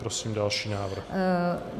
Prosím další návrh.